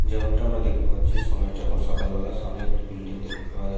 যেমনটা আমরা দেখতে পাচ্ছি সময়টা এখন সকালবেলা সামনে একটি বিল্ডিং দেখতে পাওয়া যাচ--